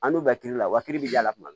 An n'u bɛ kiiri la wa kelen bi y'a la tuma min